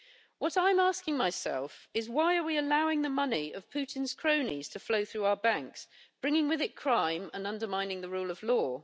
What I'm asking myself is why are we allowing the money of Putin's cronies to flow through our banks, bringing with it crime and undermining the rule of law?